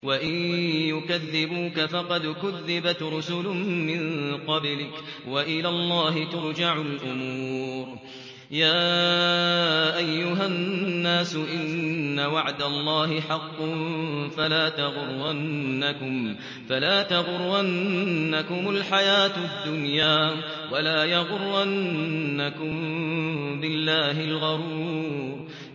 وَإِن يُكَذِّبُوكَ فَقَدْ كُذِّبَتْ رُسُلٌ مِّن قَبْلِكَ ۚ وَإِلَى اللَّهِ تُرْجَعُ الْأُمُورُ